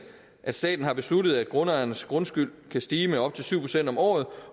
at staten har besluttet at grundejernes grundskyld kan stige med op til syv procent om året